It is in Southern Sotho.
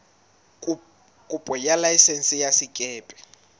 kopo ya laesense ya sekepe